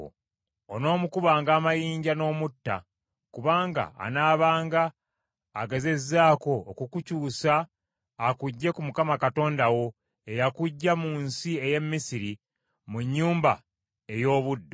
Onoomukubanga amayinja n’omutta, kubanga anaabanga agezezzaako okukukyusa akuggye ku Mukama Katonda wo eyakuggya mu nsi ey’e Misiri mu nnyumba ey’obuddu.